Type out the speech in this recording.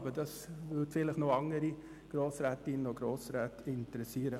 Ich denke, dies könnte auch noch andere Grossrätinnen und Grossräte interessieren.